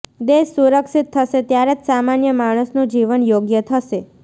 દેશ સુરક્ષિત થશે ત્યારે જ સામાન્ય માણસનું જીવન યોગ્ય થશે